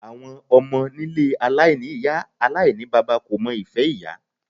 Àwọn ọmọ nílé aláìní ìyá aláìníbaba kò mọ ìfẹ́ ìyá.